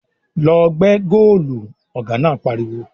"Lọ gbẹ́ góòlù!" Ọ̀gá náà pariwo